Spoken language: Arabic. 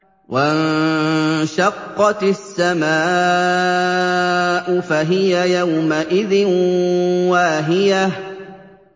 وَانشَقَّتِ السَّمَاءُ فَهِيَ يَوْمَئِذٍ وَاهِيَةٌ